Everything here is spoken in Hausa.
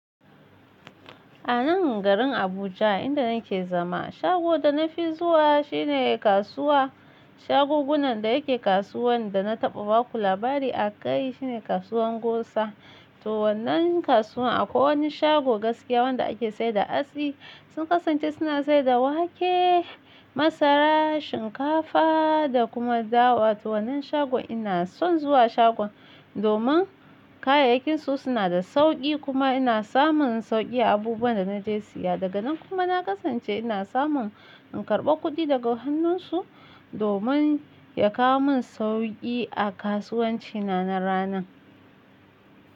A nan garin Abuja inda nake zama, shago da na fi zuwa shine kasuwa. Shagogunan da yake kasuwan da na taɓa ba ku labari a kai shine kasuwan Gusa. To wannan kasuwa akwai wani shago gaskiya wanda ake sayar da atsi. Sun kasance suna sayar da wake, masara, shinkafa da kuma dawa. To wannan shagon ina son zuwa shagon domin kayayyakinsu suna da sauki kuma ina samun sauki abubuwan da na je siya daga nan kuma na kasance ina samun in karɓa kuɗi daga hannunsu domin ya kawo min sauki a kasuwanci na, na ranan.